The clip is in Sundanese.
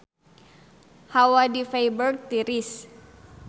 Hawa di Feiburg tiris